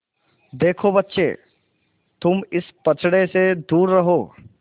देखो बच्चे तुम इस पचड़े से दूर रहो